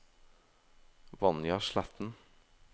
Vanja Sletten